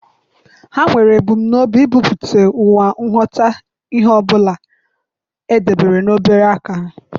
Ha nwere ebumnobi ebumpụta ụwa ịghọta ihe ọ bụla e debere n'obere aka ha.